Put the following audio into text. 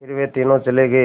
फिर वे तीनों चले गए